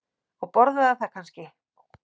Og borðaði það kannski?